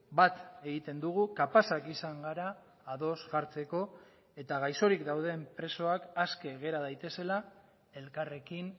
bat egiten dugu kapazak izan gara ados jartzeko eta gaixorik dauden presoak aske gera daitezela elkarrekin